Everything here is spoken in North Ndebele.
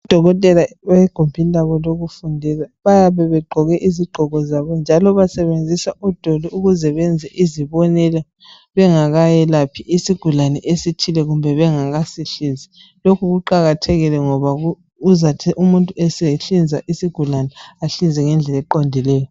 Udokotela egumbini labo elelokufundela bayabe begqoke izigqoko zabo njalo basebenzisa odoli ukuze benze izibonelo bengakayelaphi isigulane esithile kumbe bengaka sihlinzi lokhu kuqakathekile ngoba uzathi umuntu esehlinza isigulane ahlinze ngendlela eqondileyo.